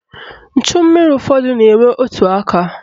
Nchummiri ụfọdụ na-enwe otu aka.